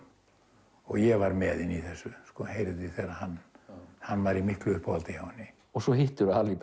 ég var með henni í þessu hann hann var í miklu uppáhaldi hjá henni svo hittirðu Harry